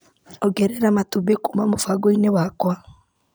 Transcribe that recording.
Ongerera matumbĩ kuma mũbango-inĩ wakwa .